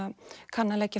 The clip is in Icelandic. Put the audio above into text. kann að leggja